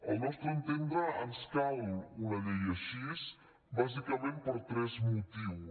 al nostre entendre ens cal una llei així bàsicament per tres motius